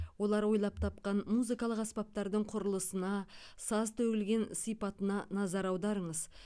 олар ойлап тапқан музыкалық аспаптардың құрылысына саз төгілген сипатына назар аударыңыз